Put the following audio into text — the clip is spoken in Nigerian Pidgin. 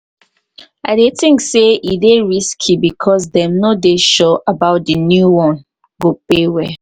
i dey think say e dey risky because dem no dey sure say di new one go pay well.